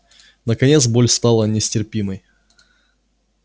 наконец боль стала нестерпимой